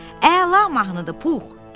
Əla mahnıdır Pux.